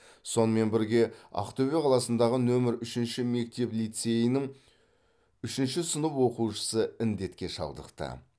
сонымен бірге ақтөбе қаласындағы нөмірі үшінші мектеп лицейінің үшінші сынып оқушысы індетке шалдықты